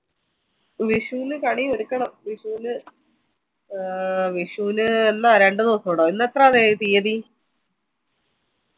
വിഷുന് കണി എട്ക്കണം വിഷുന് ആഹ് വിഷുന് എന്ന രണ്ട് ദിവസൂടല്ലേ ഇന്ന് എത്രയായി തിയതി